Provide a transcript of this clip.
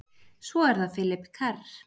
Svo er það Philip Kerr.